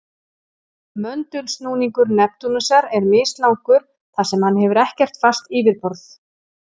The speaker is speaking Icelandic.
Möndulsnúningur Neptúnusar er mislangur þar sem hann hefur ekkert fast yfirborð.